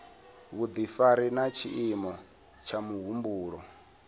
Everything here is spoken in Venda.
vhudifari na tshiimo tsha muhumbulo